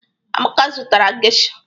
Amaka zụtara geisha.